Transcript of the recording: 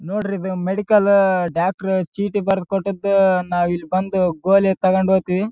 ನೋಡ್ರಿ ಇದು medical doctor ಚೀಟಿ ಬರೆದ್ ಕೊಟ್ಟಿದ್ದು ನಾವು ಇಲ್ಲಿ ಬಂದು ಗೋಲಿ ತಗೊಂಡು ಹೋಗ್ತೀವಿ.